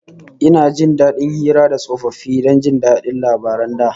Ina jin dadin hira da tsofaffi don jin labaran da